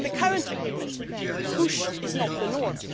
cases. In the current agreement, push' is not the